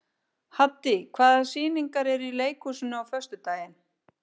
Haddý, hvaða sýningar eru í leikhúsinu á föstudaginn?